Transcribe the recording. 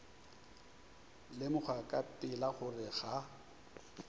lemoga ka pela gore ga